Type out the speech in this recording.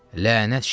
Lənət şərə.